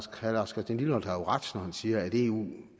herre lars christian lilleholt har jo ret når han siger at det eu